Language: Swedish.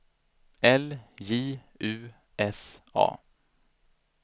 L J U S A